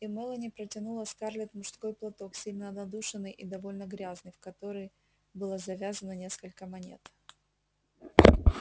и мелани протянула скарлетт мужской платок сильно надушенный и довольно грязный в который было завязано несколько монет